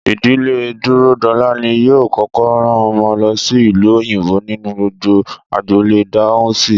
Ìdílé Dúródolá ni yóò kókó rán omo lo sí ìlú òyìnbó nínú gbogbo agboolé Dáhùnsi